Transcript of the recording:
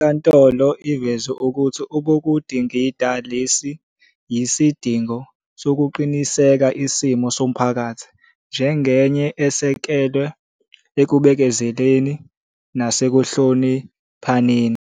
INkantolo iveze ukuthi obekudingida lesi yisidingo sokuqinisekisa isimo somphakathi njengenye esekelwe ekubekezeleni nasekuhloniphaneni.